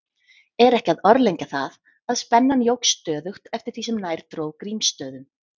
Er ekki að orðlengja það, að spennan jókst stöðugt eftir því sem nær dró Grímsstöðum.